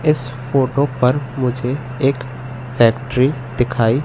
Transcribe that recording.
इस फोटो पर मुझे एक फैक्ट्री दिखाई--